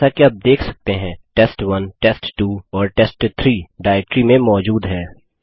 जैसा कि आप देख सकते हैं test1टेस्ट2 और टेस्ट3 डाइरेक्टरी में मौजूद हैं